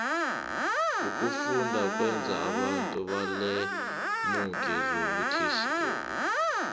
ukufunda kwenza abantu balemuke zobuterhnigi